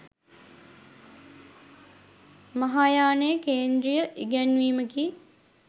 මහායානයේ කේන්ද්‍රීය ඉගැන්වීමකි.